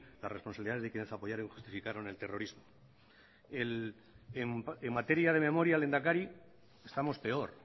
las responsabilidades de quienes apoyaron y justificaron el terrorismo en materia de memoria lehendakari estamos peor